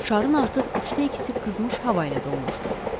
Şarın artıq üçdə ikisi qızmış hava ilə dolmuşdu.